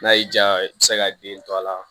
N'a y'i diya i bɛ se ka den to a la